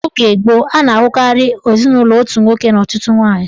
N'oge gboo, a na-ahụkarị ezinụlọ otu nwoke na ọtụtụ nwaanyị